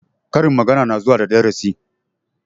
Karin magana na zuwa da darasi